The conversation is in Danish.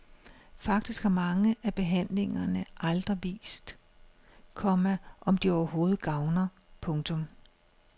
Faktisk har mange af behandlingerne aldrig vist, komma om de overhovedet gavner. punktum